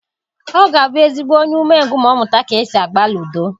Ọ ga-abụ ezigbo onye umengwụ ma ọ mụta ka e si agba ludo.